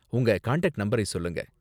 உங்க கான்டாக்ட் நம்பரை சொல்லுங்க.